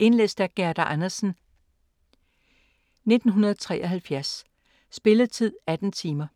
Indlæst af Gerda Andersen, 1973. Spilletid: 18 timer.